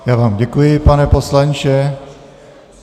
Já vám děkuji, pane poslanče.